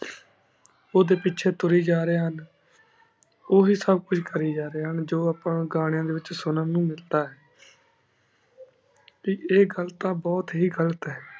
ਉਦਯਨ ਪੇਚੀ ਤੁਰੀ ਜਾ ਰਹੀ ਹੁਣ ਉਵ੍ਯਨ ਹੀ ਸਬ ਕੁਛ ਕਰੀ ਜਾ ਰਹੀ ਹੁਣ ਜੋ ਅਪਾ ਘੰਯਨ ਡੀ ਵੇਚ ਸੁਨਾ ਨੂ ਮਿਲਦਾ ਡੀ ਟੀ ਈਯ ਘਾਲ ਤਾਂ ਬੁਹਤ ਹੀ ਘਾਲਤ ਆਯ